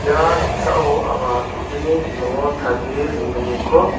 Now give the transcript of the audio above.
ia noksao anga do·deni bimango tarie dongiminko.